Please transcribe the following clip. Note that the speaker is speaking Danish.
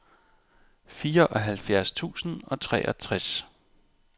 fireoghalvfjerds tusind og treogtres